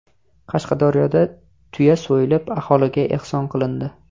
Qashqadaryoda tuya so‘yilib, aholiga ehson qilindi.